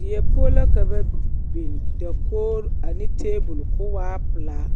Die poɔ la ka ba biŋ dakoɡri ane taabuli ka o waa pelaa